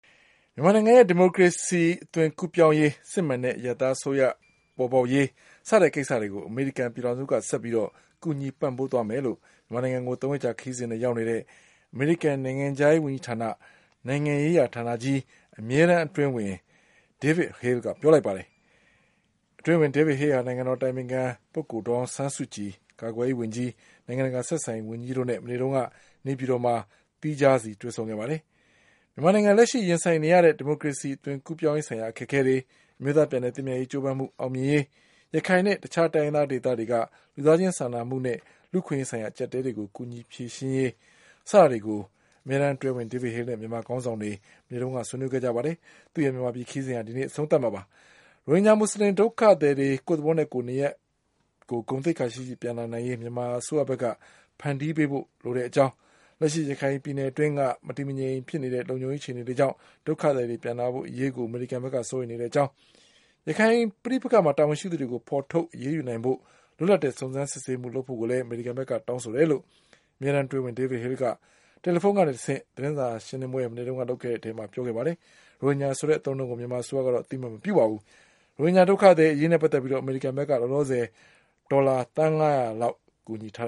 မြန်မာနိုင်ငံရဲ့ဒီမိုကရေစီ ကူးအသွင်ပြောင်းရေး၊ စစ်မှန်တဲ့ အရပ်သားအစိုးရပေါ်ပေါက်ရေးစတဲ့ကိစ္စတွေကို အမေရိကန် ပြည်ထောင်စုကဆက်ပြီး ကူညီပံ့ပိုးသွားမယ်လို့ မြန်မာနိုင်ငံကို ၃ ရက်ကြာခရီးစဉ်နဲ့ ရောက်နေတဲ့ အမေရိကန်နိုင်ငံခြားရေးဝန်ကြီးဌာန နိုင်ငံရေးရာဌာနကြီး အမြဲတန်း အတွင်းဝန် David Haleက ပြောလိုက်ပါတယ်။ အတွင်းဝန် David Hale ဟာ နိုင်ငံတော်အတိုင်ပင်ခံ ဒေါ်အောင်ဆန်းစုကြည် ကာကွယ်ရေးဝန်ကြီး၊ နိုင်ငံတကာဆက်ဆံရေးဝန်ကြီးတို့နဲ့ မနေ့တုန်းက နေပြည်တော်မှာ သီးခြားဆီတွေ့ဆုံခဲ့ပါတယ်။ မြန်မာနိုင်ငံလက်ရှိရင်ဆိုင်နေရတဲ့ ဒီမိုကရေစီ အသွင်ကူးပြောင်းရေးဆိုင်ရာအခက်အခဲတွေ၊ အမျိုးသားပြန်လည် သင့်မြတ်ရေးကြိုးပမ်းမှုအောင်မြင်ရေး၊ ရခိုင်နဲ့တခြား တိုင်းရင်းသားဒေသတွေက လူသားချင်းစာနာမှုနဲ့ လူ့အခွင့်အရေးဆိုင်ရာ အကြပ်အတည်းတွေကို ကူညီဖြေရှင်းရေးစတာတွေကို အမေရိကန်အမြဲတန်းဝန် David Haleနဲ့ မြန်မာခေါင်းဆောင်တွေ ဆွေးနွေးခဲ့ကြပါတယ်။ ရိုဟင်ဂျာမူဆလင်ဒုက္ခသည်တွေ ကိုယ့်သဘောနဲ့ ကိုယ်နေရပ်ကို ဂုဏ်သိက္ခာရှိရှိနဲ့ ပြန်လာနိုင်ရေး မြန်မာအစိုးရဘက်က ဖန်တီးပေးဖို့လိုတဲ့ အကြောင်း၊ လက်ရှိရခိုင်ပြည်နယ်အတွင်းက မတည်ငြိမ်တဲ့ လုံခြုံရေးအခြေအနေတွေကြောင့် ဒုက္ခသည်တွေပြန်လာဖို့ အရေးကို အမေရိကန်ဘက်က စိုးရိမ်နေတဲ့အကြောင်း၊ ရခိုင်ပဋိပက္ခမှာ တာဝန်ရှိသူတွေကို ဖေါ်ထုတ်အရေးယူနိုင်ဖို့ လွတ်လပ်တဲ့ စုံစမ်းစစ်ဆေးမှုတွေလုပ်ဖို့ကိုလည်း အမေရိကန်ဘက်က တောင်းဆိုတယ်လို့လည်း အမြဲတန်းအတွင်းဝန် David Haleက တယ်လီဖုန်းကတဆင့်လုပ်တဲ့ သတင်းစာရှင်းလင်းပွဲမှာ မနေ့ကပြောခဲ့ပါတယ်။ ရိုဟင်ဂျာဆိုတဲ့ အသုံးအနှုန်းက မြန်မာအစိုးရက အသိအမှတ်မပြုပါဘူး။ ရိုဟင်ဂျာဒုက္ခသည်အရေးနဲ့ ပတ်သက်ပြီး အမေရိကန်ဘက်က ဒေါ်လာသန်း ၅၀၀ လောက် ကူညီထား